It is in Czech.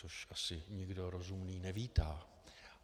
Což asi nikdo rozumný nevítá.